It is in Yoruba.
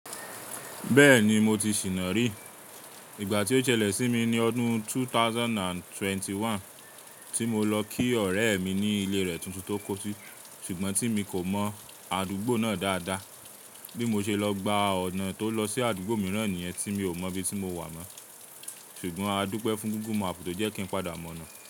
Bẹ́ẹ̀ni mo ti ṣìná rí, ìgbà tí ó ṣẹlẹ̀ sí mi ní ọdún 2021 tí mo lọ kí ọ̀rẹ́ mi ní ilé rẹ̀ tuntun tó kọ́ só. Ṣùgbọ́n tí mi kò mọ́ àdúgbò náà dáadáa bí mo ṣe lọ gba ọ̀nà tó lọ sí àdúgbò mìíràn nìyẹn tí mi ò mọ ibi tí mo wà mọ́. Ṣùgbọ́n adúpẹ fún gugugu màpú to jẹ́ kí n padà mọ̀nà.